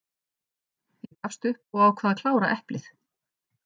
Ég gafst upp og ákvað að klára eplið.